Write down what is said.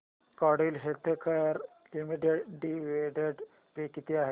Cadila healthcare limited dividend pay किती आहे